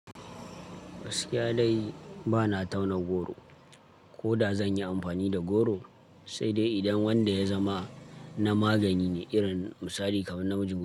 Gaskiya dai ba na tauna goro, ko da zan yi amfani da goro, sai dai idan wanda ya zama na magani ne, irin misali kamar namjin.